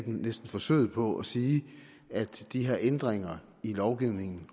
næsten forsøget på at sige at de her ændringer i lovgivningen